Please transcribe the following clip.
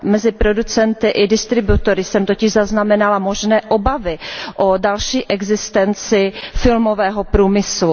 Mezi producenty i distributory jsem totiž zaznamenala možné obavy o další existenci filmového průmyslu.